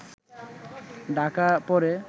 ঢাকা পড়ে